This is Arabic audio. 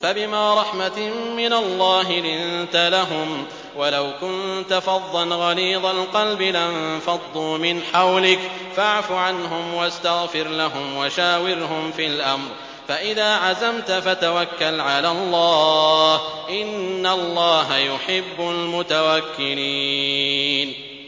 فَبِمَا رَحْمَةٍ مِّنَ اللَّهِ لِنتَ لَهُمْ ۖ وَلَوْ كُنتَ فَظًّا غَلِيظَ الْقَلْبِ لَانفَضُّوا مِنْ حَوْلِكَ ۖ فَاعْفُ عَنْهُمْ وَاسْتَغْفِرْ لَهُمْ وَشَاوِرْهُمْ فِي الْأَمْرِ ۖ فَإِذَا عَزَمْتَ فَتَوَكَّلْ عَلَى اللَّهِ ۚ إِنَّ اللَّهَ يُحِبُّ الْمُتَوَكِّلِينَ